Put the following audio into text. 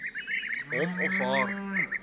hom of haar